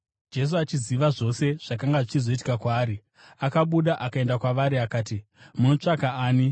Jesu, achiziva zvose zvakanga zvichizoitika kwaari, akabuda akaenda kwavari akati, “Munotsvaka ani?”